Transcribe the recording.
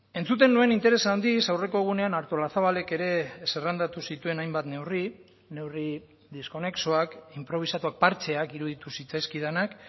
entzuten nuen interes handiz aurreko egunean artolazabalek ere zerrendatu zituen hainbat neurri neurri diskonexoak inprobisatuak partxeak iruditu zitzaizkidanak